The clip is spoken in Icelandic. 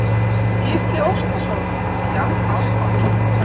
Gísli Óskarsson: Jafnástfanginn?